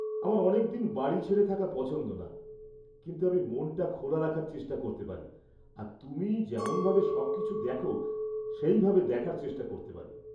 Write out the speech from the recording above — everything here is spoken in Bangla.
আমার অনেকদিন বাড়ি ছেড়ে থাকা পছন্দ না, কিন্তু আমি মনটা খোলা রাখার চেষ্টা করতে পারি আর তুমি যেমনভাবে সবকিছু দেখ সেইভাবে দেখার চেষ্টা করতে পারি।